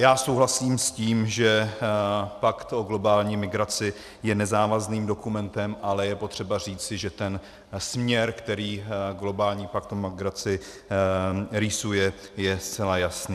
Já souhlasím s tím, že pakt o globální migraci je nezávazným dokumentem, ale je potřeba říci, že ten směr, který globální pakt o migraci rýsuje, je zcela jasný.